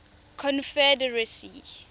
confederacy